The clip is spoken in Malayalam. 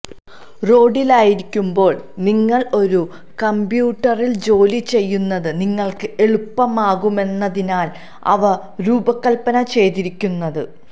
റോഡിലായിരിക്കുമ്പോൾ നിങ്ങൾ ഒരു കമ്പ്യൂട്ടറിൽ ജോലിചെയ്യുന്നത് നിങ്ങൾക്ക് എളുപ്പമാകുമെന്നതിനാണ് അവ രൂപകൽപ്പന ചെയ്തിരിക്കുന്നത്